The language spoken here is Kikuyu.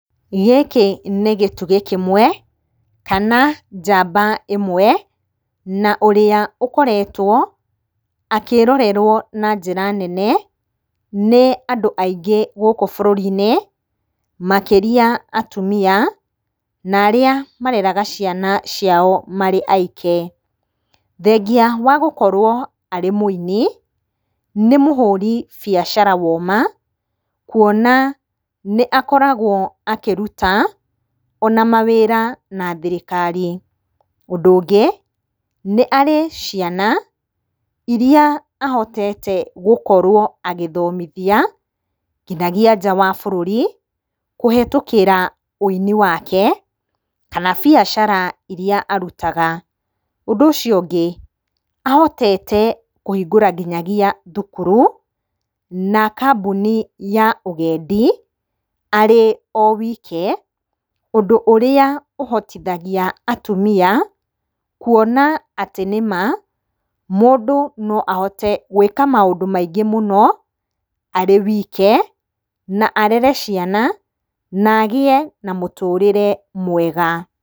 Gĩkĩ nĩ gĩtugĩ kĩmwe, kana njamba ĩmwe, na ũrĩa ũkoretwo akĩrorerwo na njĩra nene, nĩ andũ aingĩ gũkũ bũrũri-inĩ, makĩria atumia, na arĩa mareraga ciana ciao marĩ aike. Thengia wa gũkorwo arĩ mwĩini, nĩ mũhũri biacara woma, kuona nĩ akoragwo akĩruta, ona mawĩra na thirikari. Ũndũ ũngĩ, nĩ arĩ ciana iria ahotete gũkorwo agĩthomithia, nginyagia nja wa bũrũri, kũhetũkĩra wĩini wake, kana biacara iria arutaga. Ũndũ ũcio ũngĩ, ahotete kũhingũra nginyagia thukuru, na kambuni ya ũgendi, arĩ o wike, ũndũ ũrĩa ũhotithagia atumia, kuona atĩ nĩma mũndũ no ahote gwĩka maũndũ maingĩ mũno, arĩ wike, na arere ciana, nagĩe na mũtũrĩre mwega.